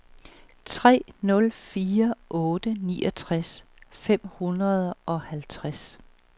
tre nul fire otte niogtres fem hundrede og halvtreds